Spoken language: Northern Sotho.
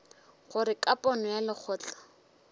gore ka pono ya lekgotla